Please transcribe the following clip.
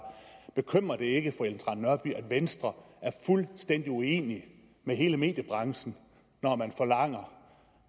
bekymrer det ikke fru ellen trane nørby at venstre er fuldstændig uenig med hele mediebranchen når man forlanger